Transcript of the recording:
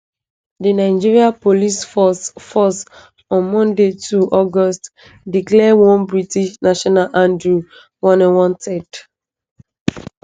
di nigeria police force force on monday 2 august declare one british national andrew wynne wanted